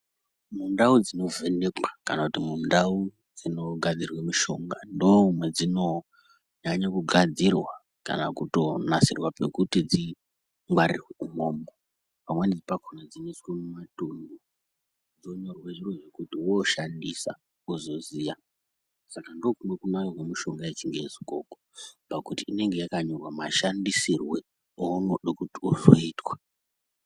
Mundau dzinovhenekwa kana kuti mundau dzinogadzirwe mushonga ndomwadzinonyanye kugadzirwa kana kuto nasirwa pekuti dzingwarirwe umwomwo pamweni pakona dzinoiswe mumatomi dzonyorwe zviro zvekuti wooshandisa wozoziye saka ndiko kumweni kunaka kwemitombo yechingezi pakuti inenge yakanyorwa mashandisirwe eunode kuti uzoitwa.